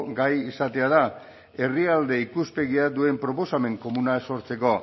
gai izatea da herrialde ikuspegia duen proposamen komuna sortzeko